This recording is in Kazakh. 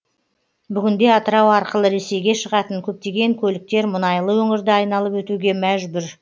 бүгінде атырау арқылы ресейге шығатын көптеген көліктер мұнайлы өңірді айналып өтуге мәжбүр